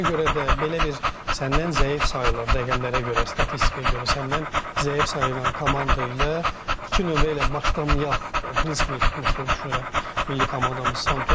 Ona görə də belə bir səndən zəif sayılan, rəqəmlərə görə, statistikaya görə səndən zəif sayılan komanda ilə iki nömrə ilə başlayaq prinsipini tutmuşdun düşünürəm milli komandamız Santuş.